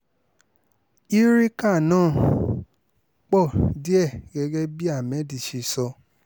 eureka náà pọ̀ díẹ̀ gẹ́gẹ́ bí ahmed ṣe sọ